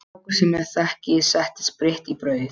Strákur sem ég þekki setti spritt í brauð.